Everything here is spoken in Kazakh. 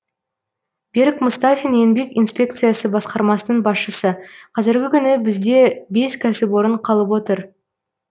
берік мұстафин еңбек инспекциясы басқармасының басшысы қазіргі күні бізде бес кәсіпорын қалып отыр